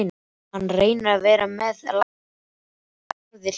Hann reynir að vera með, læst hlæja þegar aðrir hlæja.